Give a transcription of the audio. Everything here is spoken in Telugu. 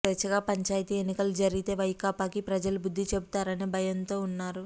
స్వేచ్ఛగా పంచాయతీ ఎన్నికలు జరిగితే వైకాపాకి ప్రజలు బుద్ధి చెబుతారనే భయంతో ఉన్నారు